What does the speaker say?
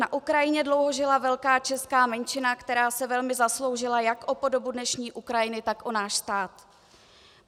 Na Ukrajině dlouho žila velká česká menšina, která se velmi zasloužila jak o podobu dnešní Ukrajiny, tak o náš stát.